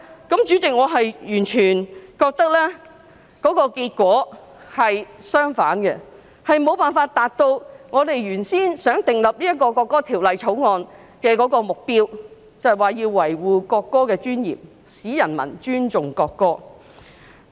代理主席，我完全覺得結果是相反的，亦無法達到訂立《條例草案》的原意，亦即維護國歌的尊嚴，使人民尊重國歌。